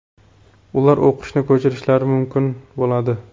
ular o‘qishni ko‘chirishlari mumkin bo‘ladi.